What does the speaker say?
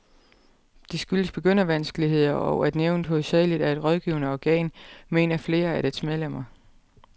Det skyldes begyndervanskeligheder, og at nævnet hovedsageligt er et rådgivende organ, mener flere af dets medlemmer.